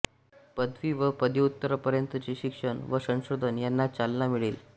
पदवी व पदव्युत्तरपर्यंतचे शिक्षण व संशोधन यांना चालना मिळेल